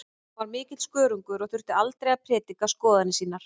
Hann var mikill skörungur og þurfti aldrei að prédika skoðanir sínar.